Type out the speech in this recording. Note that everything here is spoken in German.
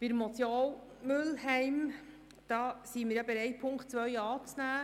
Bei der Motion Mühlheim sind wir bereit, Punkt 2 anzunehmen.